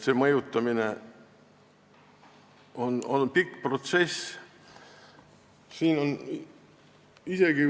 See mõjutamine on olnud pikk protsess.